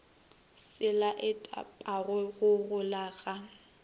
se laetpago go gola ga